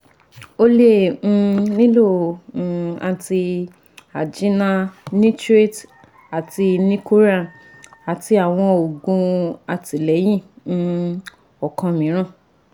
o le um nilo um anti angina nitrates ati nicoran ati awọn oogun atilẹyin um ọkan miiran